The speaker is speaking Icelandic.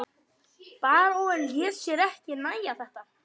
Baróninn lét sér ekki nægja þetta.